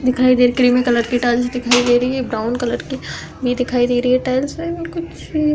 दिखाई दे रही क्रीमी कलर की टाइलें दिखाई दे रही हैं। एक ब्राउन कलर की भी दिखाई दे रही है टाइल्स । कुछ --